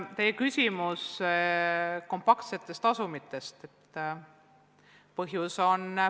Teil oli küsimus ka kompaktsete asumite kohta.